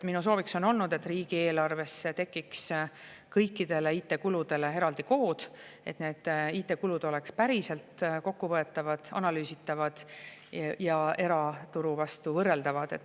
Minu sooviks on, et riigieelarvesse tekiks kõikidele IT-kuludele eraldi kood, et need oleks päriselt kokkuvõetavad, analüüsitavad ja eraturuga võrreldavad.